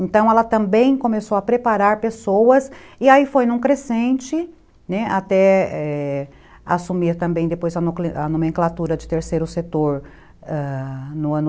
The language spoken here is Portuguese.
Então, ela também começou a preparar pessoas e aí foi num crescente, né, até assumir também depois a a nomenclatura de terceiro setor no ano